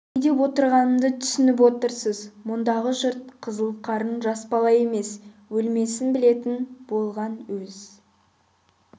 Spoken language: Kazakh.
не деп отырғанымды түсініп отырсыз мұндағы жұрт қызыл қарын жас бала емес өлмесін білетін болған өз